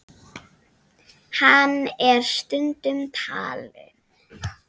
Hann er stundum talinn